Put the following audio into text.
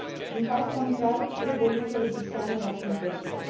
În caz contrar, revoluția egipteană va fi în pericol.